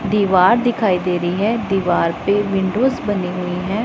दीवार दिखाई दे रही है दीवार पे विंडोज बनी हुई हैं।